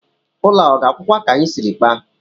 Ụlọ a ọ ga-agwụkwa ka anyị siri kpaa?